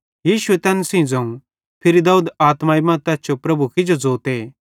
यीशुए तैन सेइं ज़ोवं फिरी दाऊद आत्माई मां तैस जो प्रभु किजो ज़ोते